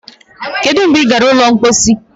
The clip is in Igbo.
Kedụ mgbe ị gara ụlọ mposi